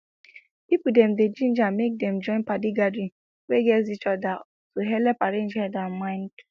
people dem dey ginger make dem join padi gathering wey gatz each other to helep arrange head and mind